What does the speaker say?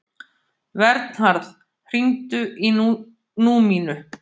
Vernharð, hringdu í Númínu.